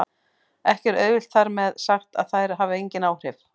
Ekki er auðvitað þar með sagt að þær hafi engin áhrif!